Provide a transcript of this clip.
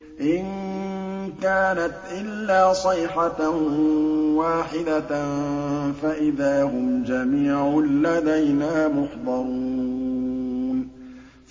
إِن كَانَتْ إِلَّا صَيْحَةً وَاحِدَةً فَإِذَا هُمْ جَمِيعٌ لَّدَيْنَا مُحْضَرُونَ